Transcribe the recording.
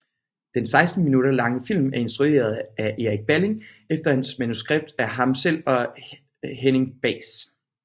Den 16 minutter lange film er instrueret af Erik Balling efter manuskript af ham selv og Henning Bahs